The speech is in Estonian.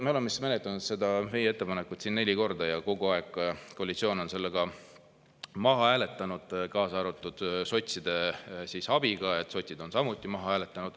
Me oleme menetlenud seda meie ettepanekut siin neli korda ja kogu aeg on koalitsioon selle maha hääletanud, kaasa arvatud sotside abiga, sotsid on samuti maha hääletanud.